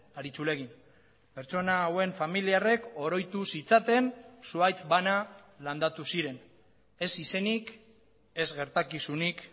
aritxulegi pertsona hauen familiarrek oroituz zitzaten zuhaitz bana landatu ziren ez izenik ez gertakizunik